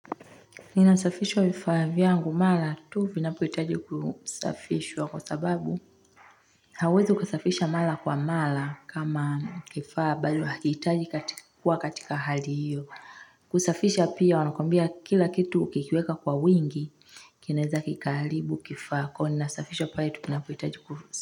Ninasafishwa vifaa vyangu mara tu vinapohitaji kusafishwa kwa sababu hauwezi ukasafisha mara kwa mara kama kifaa bado hakihitaji kuwa katika hali hiyo kusafisha pia wanakwambia kila kitu ukikiweka kwa wingi kinaweza kikaharibu kifaako nasafisha pale tu vinapohitaji.